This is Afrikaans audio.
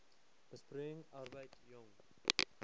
besproeiing arbeid jong